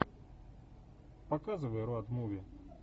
показывай роад муви